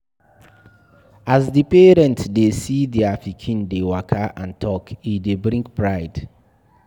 As di parent dey see their pikin dey waka and talk, e dey bring pride